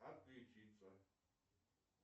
отключиться